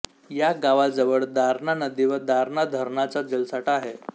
या गावाजवळ दारणा नदी व दारणा धरणाचा जलसाठा आहे